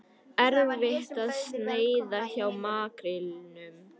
Erfitt að sneiða hjá makrílnum